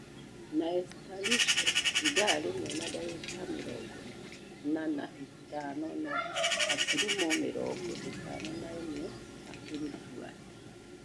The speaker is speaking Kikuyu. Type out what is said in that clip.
Na Esther riswa (ithaa rimwe na dagĩka mĩrongo ĩna na ithano na gaturumo mĩrongo ithano na imwe makĩfũata